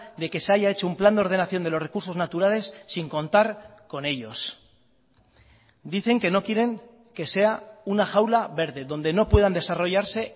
de que se haya echo un plan de ordenación de los recursos naturales sin contar con ellos dicen que no quieren que sea una jaula verde donde no puedan desarrollarse